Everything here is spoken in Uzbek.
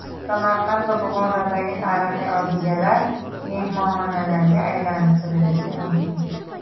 Samarqand va Buxorodagi tarixiy obidalar mehmonxonalarga aylantirilishi mumkin.